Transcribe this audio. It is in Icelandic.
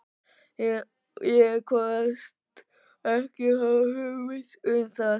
Ég kvaðst ekki hafa hugmynd um það.